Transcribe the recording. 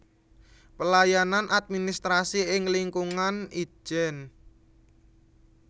Pelayanan administrasi ing lingkungan Itjen